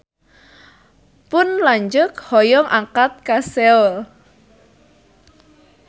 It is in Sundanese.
Pun lanceuk hoyong angkat ka Seoul